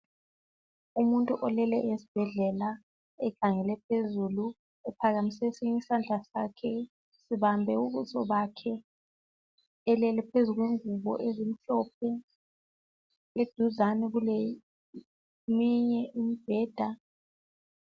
Umuntu olele esibhedlela ekhangele phezulu ephakamise esinye isandla sakhe ebambe ubuso bakhe. Elele phezu kwengubo ezimhlophe. Eduzane kwakhe kuleyinye imibheda.